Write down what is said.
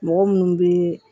Mɔgɔ munnu be